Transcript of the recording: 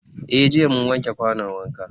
Eh jiya mun wanke kwanon wanka.